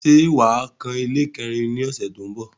Ṣé wà á kan ilé kẹ́rin ní ọ̀ṣẹ̀ tó ń bọ̀?